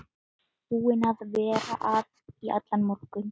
Búin að vera að í allan morgun.